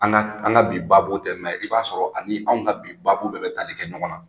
An ka an ka bi baabu tɛ, mɛ i b'a sɔrɔ ani anw ka bi baabu bɛ tali kɛ ɲɔgɔnna.